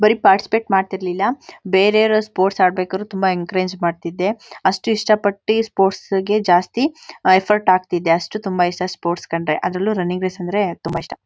ಬರಿ ಪಾರ್ಟಿಸ್ಪೇಟ್ ಮಾಡ್ತಾ ಇರ್ಲಿಲ್ಲ ಬೆರೆವರು ಸ್ಪೋರ್ಟ್ಸ್ ಆಡ್ಬೇಕಾದ್ರೆ ತುಂಬಾ ಎನ್ಕರೇಜ್ ಮಾಡ್ತಿದ್ದೆಅಷ್ಟ್ ಇಷ್ಟ ಪಟ್ಟಿ ಸ್ಪೋರ್ಟ್ಸ್ ಗೆ ಜಾಸ್ತಿ ಎಫರ್ಟ್ ಹಾಕ್ತಿದ್ದೆ ಅಷ್ಟ್ ತುಂಬಾ ಇಷ್ಟ ಸ್ಪೋರ್ಟ್ಸ್ ಕಂಡ್ರೆ ಅದ್ರಲ್ಲೂ ರನ್ನಿಂಗ್ ರೇಸ್ ಅಂದ್ರೆ ತುಂಬಾ ಇಷ್ಟ